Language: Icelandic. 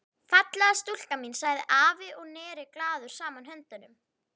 Fallega stúlkan mín sagði afi og neri glaður saman höndunum.